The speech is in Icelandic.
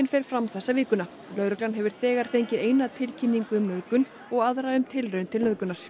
fer fram þessa vikuna lögreglan hefur þegar fengið eina tilkynningu um nauðgun og aðra um tilraun til nauðgunar